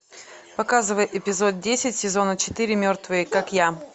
показывай эпизод десять сезона четыре мертвые как я